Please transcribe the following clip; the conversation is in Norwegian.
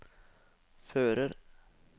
fører